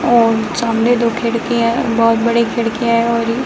और सामने दो खिड़कियाँ बहुत बड़ी खिड़कियाँ है और ये --